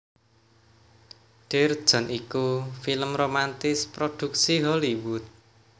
Dear John iku film romantis prodhuksi Hollywood